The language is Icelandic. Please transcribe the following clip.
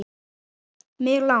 Mig lang